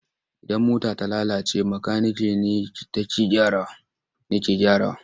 Idan mota ta lalace makanike ne take gyarawa.